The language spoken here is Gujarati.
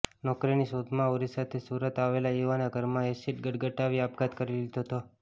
નોકરીની શોધમાં ઓરિસાથી સુરત આવેલા યુવાને ઘરમાં એસિડ ગટગટાવી આપઘાત કરી લીધો હતો